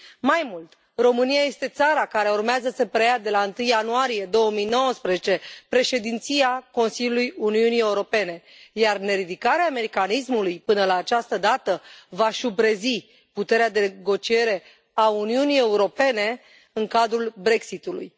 Mai mult, România este țara care urmează să preia de la 1 ianuarie 2019 președinția Consiliului Uniunii Europene, iar neridicarea mecanismului până la această dată va șubrezi puterea de negociere a Uniunii Europene în cadrul BREXIT ului.